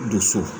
Doso